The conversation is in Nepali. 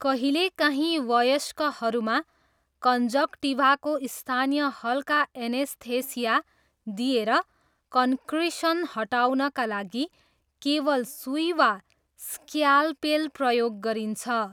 कहिलेकाहीँ वयस्कहरूमा कन्जक्टिभाको स्थानीय हल्का एनेस्थेसिया दिएर कन्क्रिसन हटाउनका लागि केवल सुई वा स्क्यालपेल प्रयोग गरिन्छ।